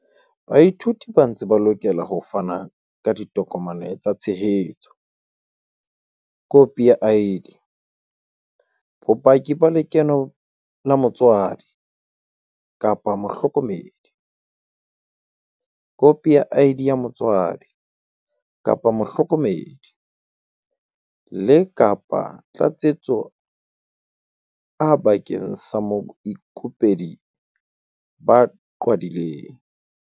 Baithuti ba ntse ba lokela ho fana ka ditokomane tsa tshehetso, khopi ya ID, bopaki ba lekeno la motswadi-mohloko medi, khopi ya ID ya motswadi-mohloko medi, le, kapa Tlatsetso A bakeng sa baikopedi ba qhwadileng.